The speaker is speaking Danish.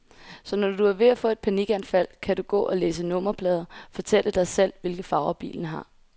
Så når du er ved at få et panikanfald, kan du gå og læse nummerplader, fortælle dig selv, hvilke farver bilerne har.